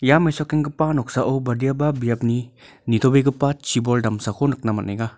ia mesokenggipa noksao badiaba biapni nitobegipa chibol damsako nikna man·enga.